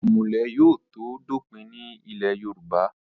ìmùlẹ̀ yóò tó dópin ní ilẹ̀ yorùbá